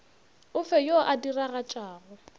o fe yo a diragatšago